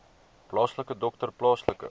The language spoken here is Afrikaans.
plaaslike dokter plaaslike